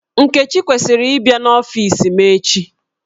Nkechi kwesiri ị bia n'ọfis m echi